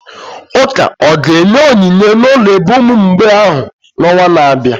Ụka ọ ga-enye onyinye n'ụlọ ebe ụmụ mgbei ahụ n'ọnwa na-abịa?